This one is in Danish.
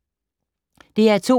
DR2